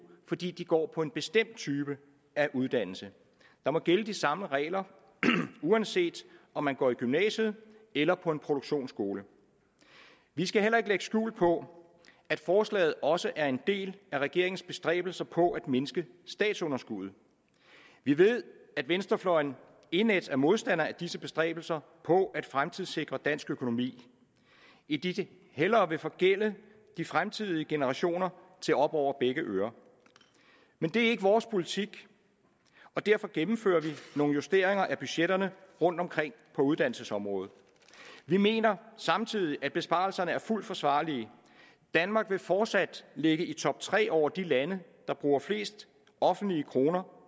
fordi de går på en bestemt type uddannelse der må gælde de samme regler uanset om man går i gymnasiet eller på en produktionsskole vi skal heller ikke lægge skjul på at forslaget også er en del af regeringens bestræbelser på at mindske statsunderskuddet vi ved at venstrefløjen er indædt modstander af disse bestræbelser på at fremtidssikre dansk økonomi idet de hellere vil forgælde de fremtidige generationer til op over begge ører men det er ikke vores politik og derfor gennemfører vi nogle justeringer af budgetterne rundt omkring på uddannelsesområdet vi mener samtidig at besparelserne er fuldt forsvarlige danmark vil fortsat ligge i top tre over de lande der bruger flest offentlige kroner